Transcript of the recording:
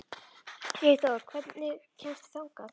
Sigþóra, hvernig kemst ég þangað?